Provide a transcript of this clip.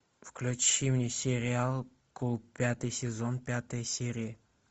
включи мне сериал кул пятый сезон пятая серия